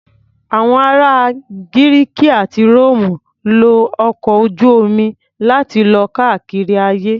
Àwọn ará Gírìkì àti Róòmù lo ọkọ̀ ojú-omi láti lọ káàkiri ayé.